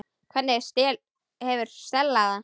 Hvernig hefur Stella það?